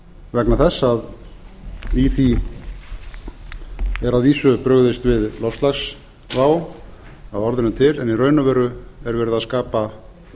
vegna þess að í því er að vísu brugðist við loftslagsvá að orðinu til en í raun og veru er verið að skapa